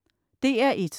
DR1: